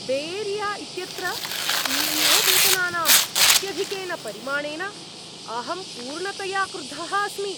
Bay Area इत्यत्र C E O वेतनानाम् अत्यधिकेन परिमाणेन अहं पूर्णतया क्रुद्धः अस्मि।